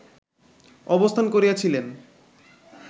অবস্থান করিয়াছিলেন